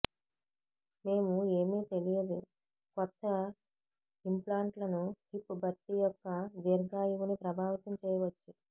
మేము ఏమి తెలియదు కొత్త ఇంప్లాంట్లను హిప్ భర్తీ యొక్క దీర్ఘాయువుని ప్రభావితం చేయవచ్చు